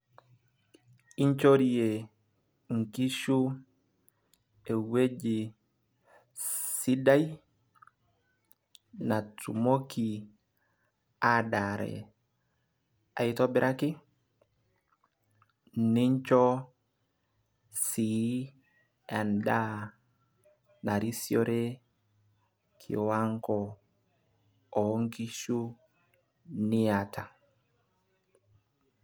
inchorie inkishu ewueji sidai, natumoki adaare aitobiraki, nincho sii edaa narisiore kiwango, oonkishu niata.